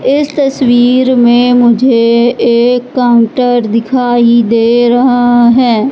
इस तस्वीर में मुझे एक काउंटर दिखाई दे रहा है।